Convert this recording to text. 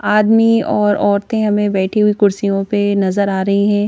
आदमी और औरतें हमें बैठी हुई कुर्सियों पे नजर आ रही हैं।